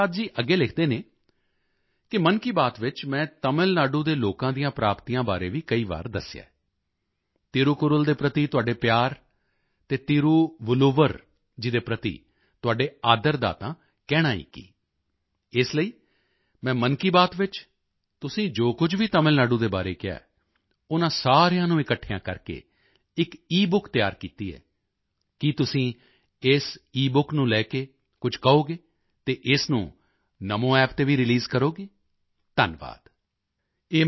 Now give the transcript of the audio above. ਗੁਰੂਪ੍ਰਸਾਦ ਜੀ ਅੱਗੇ ਲਿਖਦੇ ਹਨ ਕਿ ਮਨ ਕੀ ਬਾਤ ਵਿੱਚ ਮੈਂ ਤਮਿਲ ਨਾਡੂ ਦੇ ਲੋਕਾਂ ਦੀਆਂ ਪ੍ਰਾਪਤੀਆਂ ਬਾਰੇ ਵੀ ਕਈ ਵਾਰ ਦੱਸਿਆ ਹੈ ਤਿਰੂਕੁੱਰਲ ਦੇ ਪ੍ਰਤੀ ਤੁਹਾਡੇ ਪਿਆਰ ਤੇ ਤਿਰੂਵਲੁੱਵਰ ਜੀ ਦੇ ਪ੍ਰਤੀ ਤੁਹਾਡੇ ਆਦਰ ਦਾ ਤਾਂ ਕਹਿਣਾ ਹੀ ਕੀ ਇਸ ਲਈ ਮੈਂ ਮਨ ਕੀ ਬਾਤ ਵਿੱਚ ਤੁਸੀਂ ਜੋ ਕੁਝ ਵੀ ਤਮਿਲ ਨਾਡੂ ਦੇ ਬਾਰੇ ਕਿਹਾ ਹੈ ਉਨ੍ਹਾਂ ਸਾਰਿਆਂ ਨੂੰ ਇਕੱਠਿਆਂ ਕਰਕੇ ਇਕ ਈਬੁੱਕ ਤਿਆਰ ਕੀਤੀ ਹੈ ਕੀ ਤੁਸੀਂ ਇਸ ਈਬੁੱਕ ਨੂੰ ਲੈ ਕੇ ਕੁਝ ਕਹੋਗੇ ਅਤੇ ਇਸ ਨੂੰ NamoApp ਤੇ ਵੀ ਰੀਲੀਜ਼ ਕਰੋਗੇ ਧੰਨਵਾਦ